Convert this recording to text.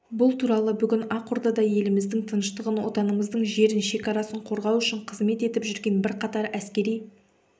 бұл туралы бүгін ақордада еліміздің тыныштығын отанымыздың жерін шекарасын қорғау үшін қызмет етіп жүрген бірқатар әскери